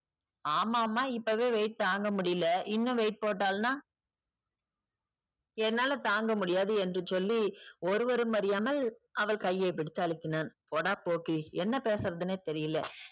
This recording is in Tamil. ஆமாமாம் இப்போவே weight தாங்க முடியலை இன்னும் weight போட்டாள்னா என்னால தாங்க முடியாது என்று சொல்லி ஒருவரும் அறியாமல் அவள் கையை பிடித்து அழுத்தினான். போடா போக்கிரி என்ன பேசுறதுன்னே தெரியல.